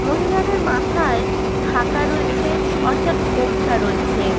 মহিলাদের মাথায় ঢাকা রয়েছে অর্থাৎ ঘোমটা রয়েছে।